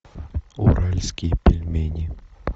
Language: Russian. уральские пельмени